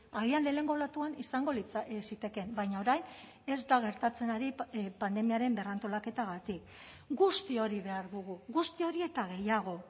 agian lehenengo olatuan izango zitekeen baina orain ez da gertatzen ari pandemiaren berrantolaketagatik guzti hori behar dugu guzti hori eta gehiago